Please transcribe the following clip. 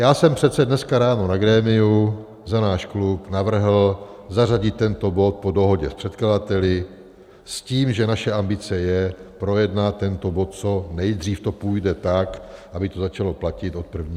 Já jsem přece dneska ráno na grémiu za náš klub navrhl zařadit tento bod po dohodě s předkladateli s tím, že naše ambice je projednat tento bod, co nejdřív to půjde, tak aby to začalo platit od 1. ledna.